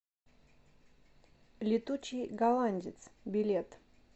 летучий голландец билет